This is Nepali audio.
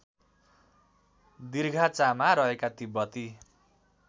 दिर्घाचामा रहेका तिब्बती